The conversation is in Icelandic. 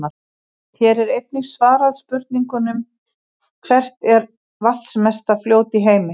Hér er einnig svarað spurningunum: Hvert er vatnsmesta fljót í heimi?